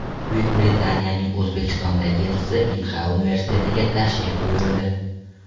Buyuk Britaniyaning O‘zbekistondagi elchisi Inha universitetiga tashrif buyurdi.